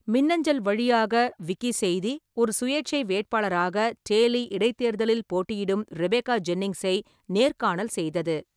மின்னஞ்சல் வழியாக, விக்கிசெய்தி ஒரு சுயேட்சை வேட்பாளராக டேலி இடைத்தேர்தலில் போட்டியிடும் ரெபேக்கா ஜென்னிங்ஸை நேர்காணல் செய்தது.